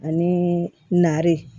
Ani nari